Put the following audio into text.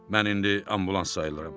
Mən indi ambulans sayılıram.